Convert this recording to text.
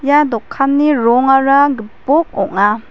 ia dokanni rongara gipok ong·a.